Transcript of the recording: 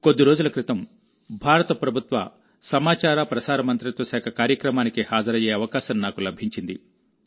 కొద్ది రోజుల క్రితంభారత ప్రభుత్వ సమాచార ప్రసార మంత్రిత్వ శాఖ కార్యక్రమానికి హాజరయ్యే అవకాశం నాకు లభించింది